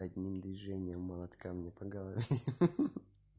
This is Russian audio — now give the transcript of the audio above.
одним движением молотка мне по голове ха-ха